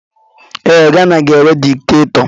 Ee, Gana ga-enwe dikitatọ.